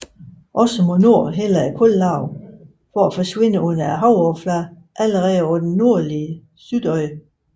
Også mod nord hælder kullaget for at forsvinde under havoverfladen allerede på det nordlige Suðuroy